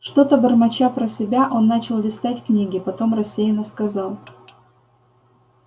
что-то бормоча про себя он начал листать книги потом рассеянно сказал